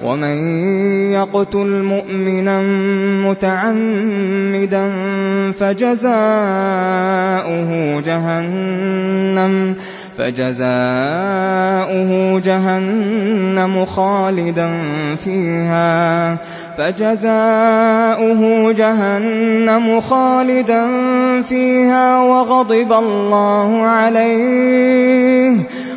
وَمَن يَقْتُلْ مُؤْمِنًا مُّتَعَمِّدًا فَجَزَاؤُهُ جَهَنَّمُ خَالِدًا فِيهَا